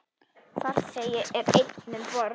Farþegi er einn um borð.